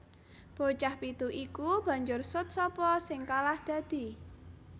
Bocah pitu iku banjur sut sapa sing kalah dadi